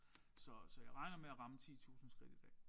Så så jeg regner med at ramme 10000 skridt i dag